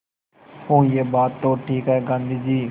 हूँ यह बात तो ठीक है गाँधी जी